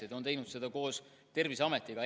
Ja ta on teinud seda koos Terviseametiga.